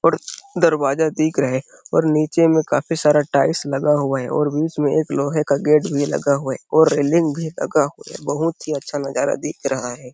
और दरवाजा दिख रहा है और नीचे में काफी सारा टाइल्स लगा हुआ है और बीच में लोहे का गेट भी लगा हुआ हैऔर रेलिंग भी लगा है बहुत ही अच्छा नजारा दिख रहा है।